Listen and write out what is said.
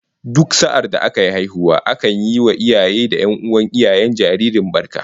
Duk sa'adda aka yi haihuwa akan yi wa iyaye da 'yan'uwan iyayen jaririn barka